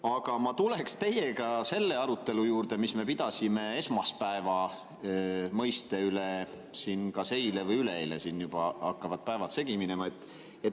Aga ma tuleksin selle arutelu juurde, mis me pidasime esmaspäeva mõiste üle kas eile või üleeile, juba hakkavad päevad segi minema.